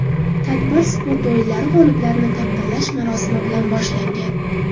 Tadbir sport o‘yinlari g‘oliblarini taqdirlash marosimi bilan boshlangan.